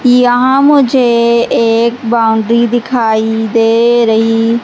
यहां मुझे एक बाउंड्री दिखाई दे रही--